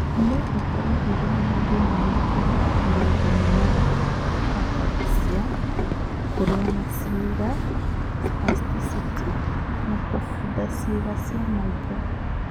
No ũkorũo ũrĩ na mathĩna ma kũhota kũrũnga mĩgarũ (ataxia); kũrũa kwa ciĩga (spasticity); na kũbutha ciĩga cia maitho.